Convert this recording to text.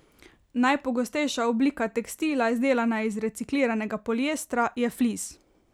Najpogostejša oblika tekstila, izdelana iz recikliranega poliestra, je flis.